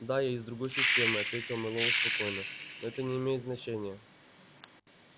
да я из другой системы ответил мэллоу спокойно но это не имеет значения